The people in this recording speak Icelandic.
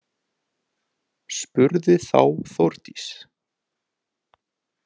Spurði þá Þórdís: